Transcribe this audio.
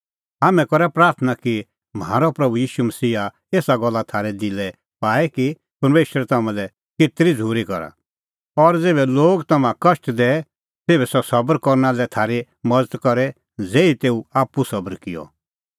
हाम्हैं करा प्राथणां कि म्हारअ प्रभू ईशू मसीहा एसा गल्ला थारै दिलै पाए कि परमेशर तम्हां लै केतरी झ़ूरी करा और ज़ेभै लोग तम्हां कष्ट दैए तेभै सह सबर करना लै थारी मज़त करे ज़ेही तेऊ आप्पू सबर किअ